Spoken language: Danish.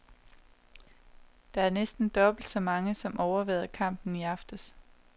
Det er næsten dobbelt så mange, som overværede kampen i aftes.